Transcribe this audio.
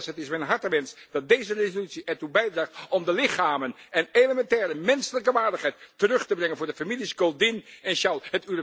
Het is mijn hartenwens dat deze resolutie ertoe bijdraagt om de lichamen en elementaire menselijke waardigheid terug te brengen voor de families Goldin en Shaul.